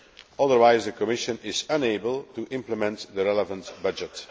Otherwise the Commission is unable to implement the relevant budget.